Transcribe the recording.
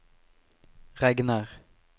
regner